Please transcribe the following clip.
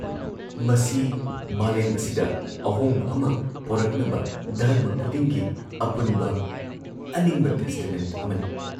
ꯃꯁꯤ ꯃꯥꯂꯦꯝ ꯑꯁꯤꯗ ꯑꯍꯣꯡꯕ ꯑꯃ ꯄꯣꯔꯛꯅꯕ ꯙꯔꯃ ꯈꯨꯗꯤꯡꯒꯤ ꯑꯄꯨꯟꯕ ꯑꯅꯤꯡꯕ ꯇꯦꯁꯇꯃꯦꯟ ꯑꯃꯅꯤ ꯫